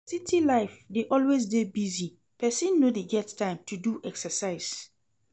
City life dey always dey busy, pesin no dey get time to do exercise.